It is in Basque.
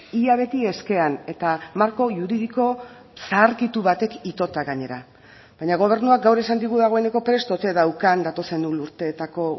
ia beti eskean eta marko juridiko zaharkitu batek itota gainera baina gobernuak gaur esan digu dagoeneko prest ote daukan datozen urteetako